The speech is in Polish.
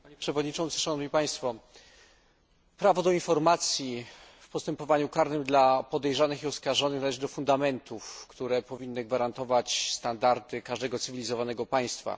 Panie Przewodniczący! Prawo do informacji w postępowaniu karnym dla podejrzanych i oskarżonych należy do fundamentów, które powinny gwarantować standardy każdego cywilizowanego państwa.